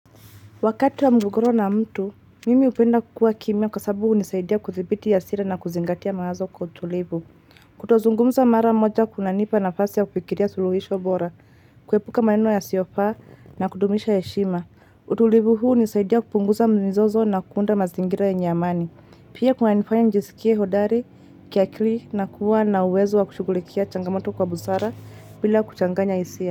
Wakati wa mgogoro na mtu, mimi hupenda kukua kimya kwa sababu hunisaidia kuthibiti hasira na kuzingatia mawazo kwa utulivu. Kutozungumza mara moja kunanipa nafasi ya kufikiria suluhisho bora, kuepuka maneno yasiofa na kudumisha heshima. Utulivu huu hunisaidia kupunguza mzozo na kuunda mazingira yenye amani. Pia kunanifanya nijisikie hodari kiakili na kuwa na uwezo wa kushugulikia changamoto kwa busara bila kuchanganya hisia.